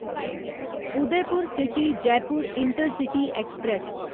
Udaipur City Jaipur Intercity express